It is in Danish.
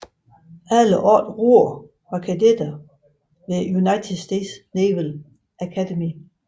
Samtlige otte roere var kadetter ved United States Naval Academy